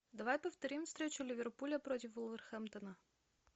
давай повторим встречу ливерпуля против вулверхэмптона